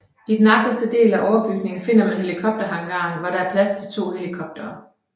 I den agterste del af overbygningen finder man helikopterhangaren hvor der er plads til to helikopere